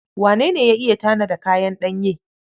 Wane ne ya iya tanada kayan ɗanye?